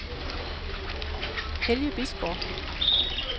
Helge Bisgaard